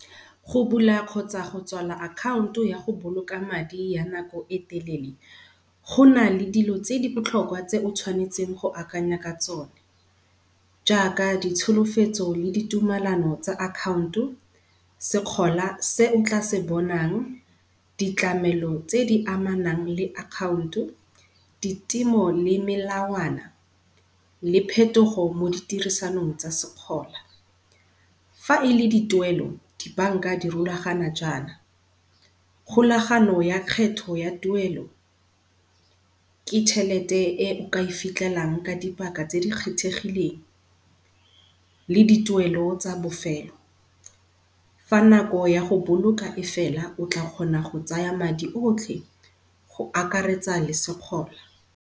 Go bula kgotsa go tswala account-o ya go boloka madi ya nako e telele, go na le dilo tse di botlhokwa tse o tshwanetseng go akanya ka tsone, jaaka ditsholofetso le ditumelano tsa account-o, sekgola se o tla se bonang, di tlamelo tse di amanang le account-o, ditemo le melawana le phetogo mo di tirisanong tsa sekgola. Fa e le di tuelo di bank-a di rulaganya jaana, kgolagano ya kgetho ya tuelo, ke chelete e o ka e fitlhelang ka dipaka tse di kgethegileng le di tuelo tsa bofelo. Fa nako ya go boloka e fela o tla kgona go tsaya madi otlhe go akaretsa le sekgola.